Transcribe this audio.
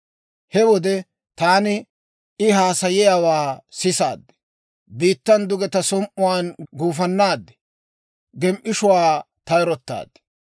He wode taani I haasayiyaawaa sisaad; biittan duge ta som"uwaan gufannaad; gem"ishshuwaa tayrottaad.